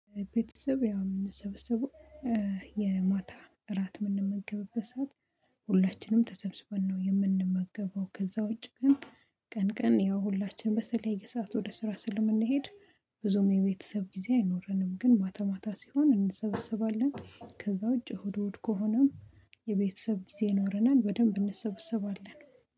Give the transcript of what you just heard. ቤተሰብ ያምንሰበሰቡ የማታ እራት የምንመገብበት ሰዓት። ሁላችንም ተሰብስበን ነው የምንመገበው ከዛ ውጪ ግን ቀን ቀን ያው ሁላችንም በተለያየ ሰዓት ወደ ስራ ስለምንሄድ። ብዙም የቤተሰብ ጊዜ አይኖረንም ግን ማታ ማታ ሲሆን እንሰበሰባለን። ከዛ ውጪ እሁድ እሁድ ከሆነም የቤተሰብ ጊዜ ኖረናል በደንብ እንሰበሰባለን